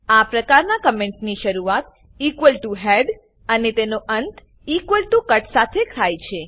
આ પ્રકારના કમેન્ટ ની શરૂઆત ઇક્વલ ટીઓ હેડ અને તેનો અંત ઇક્વલ ટીઓ કટ સાથે થાય છે